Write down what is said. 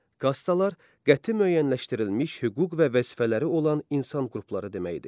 Kastalar qəti müəyyənləşdirilmiş hüquq və vəzifələri olan insan qrupları deməkdir.